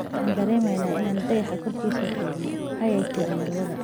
Waxaan dareemeynaa in aan dayaxa koorkisa jogno," ayay tiri Marwada. Gibson.